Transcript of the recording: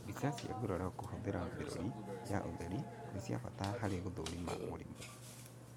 Mbica cia nguraro kũhũthĩra mĩrũri ya ũtheri nĩ cia bata harĩ gũthũrima mũrimũ